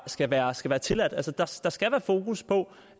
skal være skal være tilladt altså der skal skal være fokus på